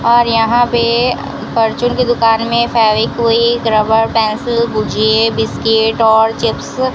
और यहां पे परचून की दुकान में फेविक्विक रबड़ पेंसिल भूजिए बिस्किट और चिप्स --